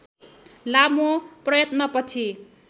लामो प्रयत्नपछि